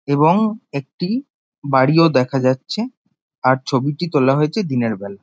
এবং একটি বাড়িও দেখা যাচ্ছে আর ছবিটি তোলা হয়েছে দিনের বেলা।